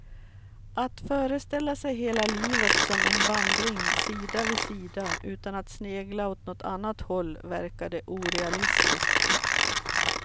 Att föreställa sig hela livet som en vandring sida vid sida utan att snegla åt något annat håll verkade orealistiskt.